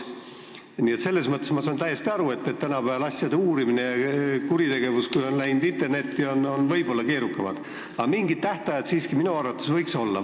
Nii et ma saan täiesti aru, et tänapäeval, kui kuritegevus on läinud internetti, on asjade uurimine võib-olla keerukam, aga mingid tähtajad võiksid minu arvates siiski olla.